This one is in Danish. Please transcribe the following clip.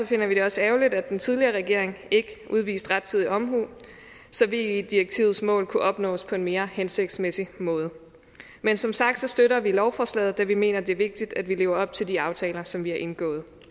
finder vi det også ærgerligt at den tidligere regering ikke udviste rettidig omhu så ve direktivets mål kunne opnås på en mere hensigtsmæssig måde men som sagt støtter vi lovforslaget da vi mener at det er vigtigt at vi lever op til de aftaler som vi har indgået